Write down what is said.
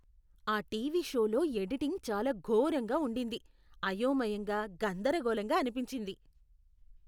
ఆ టీవీ షోలో ఎడిటింగ్ చాలా ఘోరంగా ఉండింది. అయోమయంగా, గందరగోళంగా అనిపించింది.